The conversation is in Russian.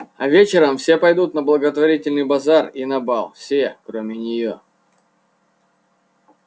а вечером все пойдут на благотворительный базар и на бал все кроме неё